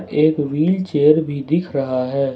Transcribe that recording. एक व्हीलचेयर भी दिख रहा है।